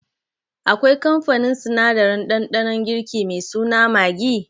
Akwai kamfanin sinadarin ɗanɗanon girki me suna Maggi?